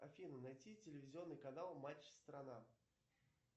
афина найти телевизионный канал матч страна